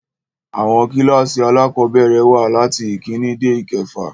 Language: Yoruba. Àwọn kílkàsì alákọ̀bẹ̀rẹ̀ wà latí ìkíni dé ìkefà.